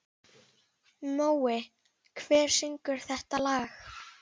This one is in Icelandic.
Mói, hver syngur þetta lag?